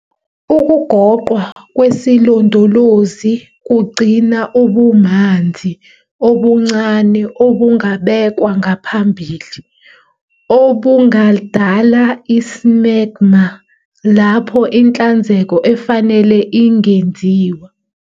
Ukugoqwa kwesilondolozi kugcina ubumanzi obuncane obungabekwa ngaphambili, obungadala i-smegma lapho inhlanzeko efanele ingenziwa.